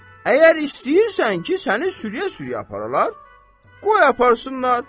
Əgər istəyirsən ki, səni sürüyə-sürüyə aparalar, qoy aparsınlar.